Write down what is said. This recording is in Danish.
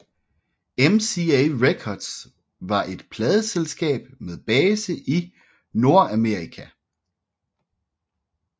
MCA Records var et pladeselskab med base i Nordamerika